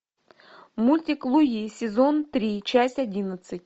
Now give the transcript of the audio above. мультик луи сезон три часть одиннадцать